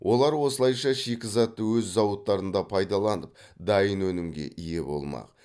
олар осылайша шикізатты өз зауыттарында пайдаланып дайын өнімге ие болмақ